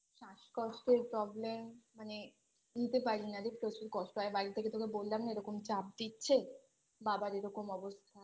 শ্বাসকষ্টের Problem মানে বলতে পারি না রে প্রচুর কষ্ট হয় বাড়ি থেকে তোকে বললাম না এরম চাপ দিচ্ছে বাবার এরকম অবস্থা